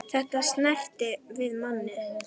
Þetta snertir við manni.